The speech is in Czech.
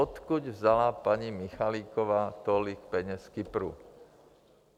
Odkud vzala paní Michaliková tolik peněz z Kypru?